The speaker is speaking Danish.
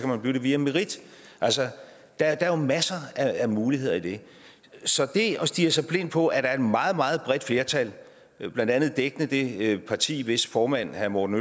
man blive det via merit altså der er jo masser af muligheder i det så at stirre sig blind på at der er et meget meget bredt flertal blandt andet dækkende det parti hvis formand herre morten